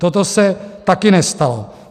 Toto se taky nestalo.